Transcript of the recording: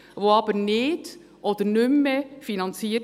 diese werden aber nicht oder nicht mehr finanziert.